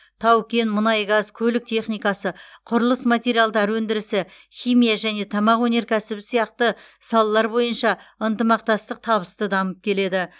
тау кен мұнай газ көлік техникасы құрылыс материалдары өндірісі химия және тамақ өнеркәсібі сияқты салалар бойынша ынтымақтастық табысты дамып келеді